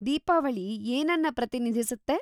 ದೀಪಾವಳಿ ಏನನ್ನ ಪ್ರತಿನಿಧಿಸುತ್ತೆ?